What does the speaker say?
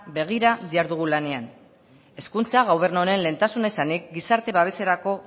begira dihardugu lanean hezkuntza gobernu honen lehentasuna izanik gizarte babeserako